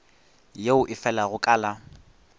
yeo e felago ka la